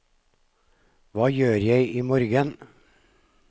hva gjør jeg imorgen